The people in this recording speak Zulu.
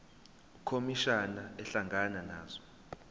ukhomishana ehlangana nazo